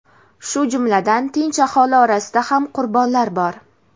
shu jumladan tinch aholi orasida ham qurbonlar bor.